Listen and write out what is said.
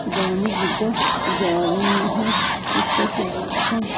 sidaami gido ijaaroniha ikkasi buuxxisano